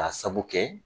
K'a sabu kɛ